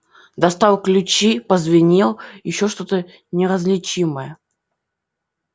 достал ключи позвенел ещё что-то неразличимое